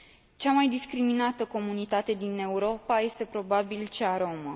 Cea mai discriminată comunitate din Europa este, probabil, cea romă.